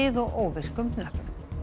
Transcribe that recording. og óvirkum hnöppum